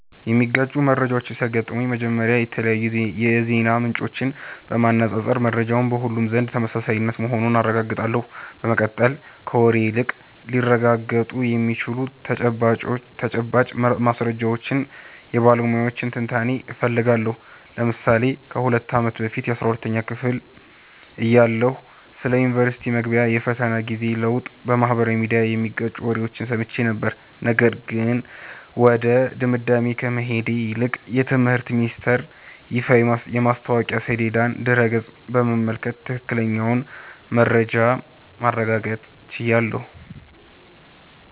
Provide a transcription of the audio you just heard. የሚጋጩ መረጃዎች ሲያጋጥሙኝ፥ መጀመሪያ የተለያዩ የዜና ምንጮችን በማነፃፀር መረጃው በሁሉም ዘንድ ተመሳሳይ መሆኑን አረጋግጣለሁ። በመቀጠል፥ ከወሬ ይልቅ ሊረጋገጡ የሚችሉ ተጨባጭ ማስረጃዎችንና የባለሙያዎችን ትንታኔ እፈልጋለሁ። ለምሳሌ ከ2 አመት በፊት 12ኛ ክፍል እያለሁ ስለ ዩኒቨርስቲ መግቢያ የፈተና ጊዜ ለውጥ በማኅበራዊ ሚዲያ የሚጋጩ ወሬዎችን ሰምቼ ነበር፤ ነገር ግን ወደ ድምዳሜ ከመሄድ ይልቅ የትምህርት ሚኒስተር ይፋዊ የማስታወቂያ ሰሌዳና ድረ-ገጽ በመመልከት ትክክለኛውን መረጃ ማረጋገጥ ችያለሁ።